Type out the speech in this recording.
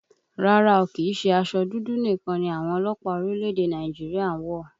Rárá o, kìí ṣe aṣọ dúdú nìkan ni àwọn ọlọ́pàá orílẹ̀èdè Nàìjíríà ń wọ̀